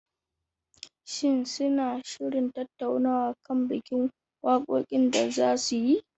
Shin suna shirin tattaunawa kan bikin wakokin da za su yi?